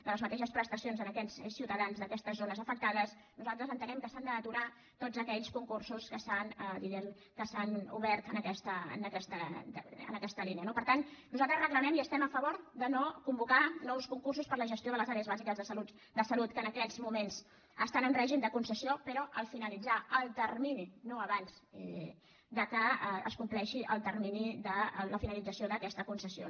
de les mateixes prestacions aquests ciutadans d’aquestes zones afectades nosaltres entenem que s’han d’aturar tots aquells concursos que s’han diguem ne obert en aquesta línia no per tant nosaltres reclamem i estem a favor de no convocar nous concursos per a la gestió de les àrees bàsiques de salut que en aquests moments estan en règim de concessió però al finalitzar el termini no abans que es compleixi el termini la finalització d’aquesta concessió